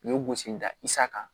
U ye gosi da isa kan